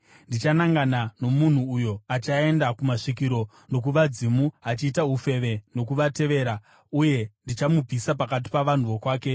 “ ‘Ndichanangana nomunhu uyo achaenda kumasvikiro, nokuvadzimu achiita ufeve nokuvatevera uye ndichamubvisa pakati pavanhu vokwake.